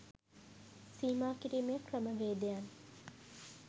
සීමා කිරීමේ ක්‍රමවේදයන්